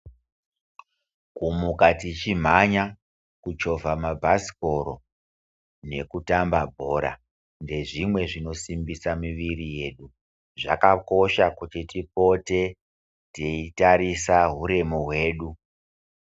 Kumuka tichimhanya ,kuchovha mabhasikoro, nekutamba bhora ndezvimwe zvinosimbisa miri yedu ,zvakakosha kuti tipote teitarisa uremu hwedu.